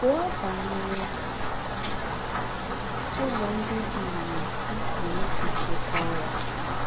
Gúọ̀ bányerè úzọ̀ ńdị́ dì ìrè í pùrù ísì chíkwàá ya.